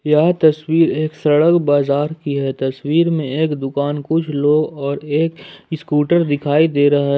यह तस्वीर एक सड़क बाजार की है तस्वीर में एक दुकान कुछ लोग और एक स्कूटर दिखाई दे रहा है।